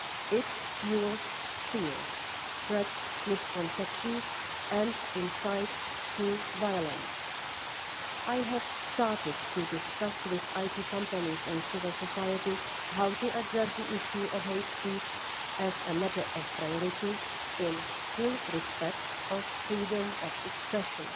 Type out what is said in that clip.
It fuels fear, spreads misconceptions and incites violence. I have started to discuss with IT companies and civil society how to address the issue of hate speech as a matter of priority, with full respect for freedom of expression.